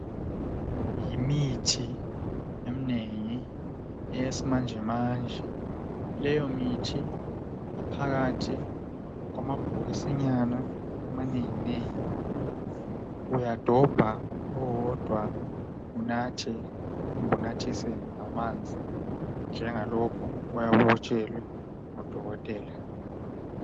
Yimithi emnengi eyesimanjemanje, leyomithi iphakathi kwamabhokisinyana amanenginengi uyadobha owodwa unathe kumbe unathise ngamanzi kumbe njengalokho oyabe ukutshelwe ngudokotela